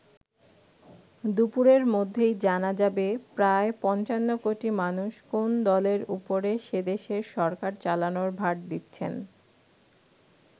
দুপুরের মধ্যেই জানা যাবে প্রায় পঞ্চান্ন কোটি মানুষ কোন দলের ওপরে সেদেশের সরকার চালানোর ভার দিচ্ছেন।